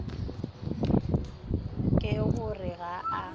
ke go re ga a